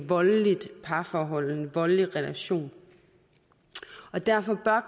voldeligt parforhold en voldelig relation derfor bør